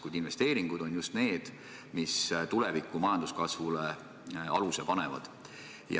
Kuid investeeringud on just need, mis tuleviku majanduskasvule aluse panevad.